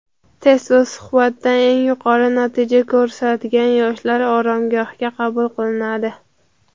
Test va suhbatdan eng yuqori natija ko‘rsatgan yoshlar oromgohga qabul qilinadi.